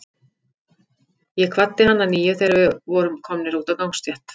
Ég kvaddi hann að nýju, þegar við vorum komnir út á gangstétt.